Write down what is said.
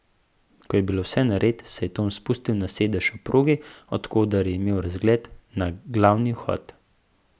Ko je bilo vse nared, se je Tom spustil na sedež ob progi, od koder je imel razgled na glavni vhod.